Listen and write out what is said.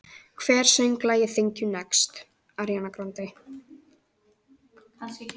Hver söng lagið Thank you, next?